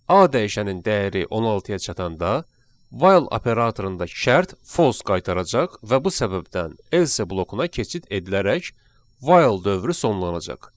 A dəyişənin dəyəri 16-ya çatanda while operatorundakı şərt false qaytaracaq və bu səbəbdən else blokuna keçid edilərək while dövrü sonlanacaq.